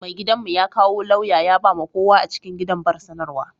Mai gidan' mu ya kawo lauya ya ba ma kowa a cikin gidan bar sanarwa.